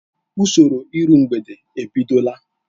Usoro iru mgbede ebidola.